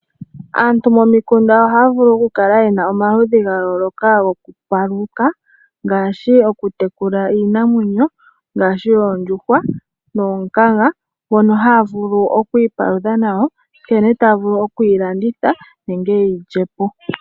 Aantu momikunda ohaavulu okukala yena iipalutha namwenyo ya yolokathana ngaashi okutekula oondjuhwa noonkanga ndhono haa vulu okwiipalutha nadho, okudhilanditha nosho woo okudhilyapo.